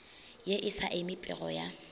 ye e sa emipego ya